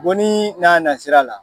Bonni n'a nasira la.